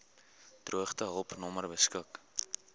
droogtehulp nommer beskik